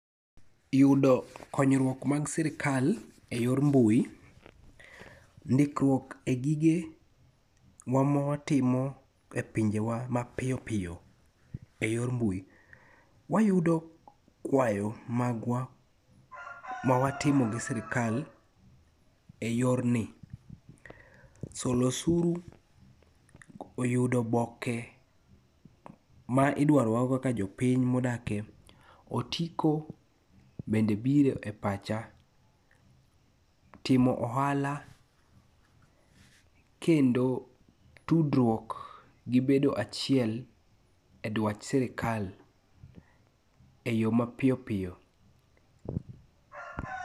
Yudo konyruok mag sirkal e yor mbui, ndikruok e gige wa mawatimo e pinje wa mapiyopiyo e yor mbui. Wayudo kwayo magwa mawatimo gi sirkal e yorni. Solo osuru, yudo oboke ma idwaro wa kaka jopiny ma odake, otiko bende biro e pacha. Timo ohala kendo tudruok, gi bedo achiel e dwach sirkal e yo ma piyo piyo.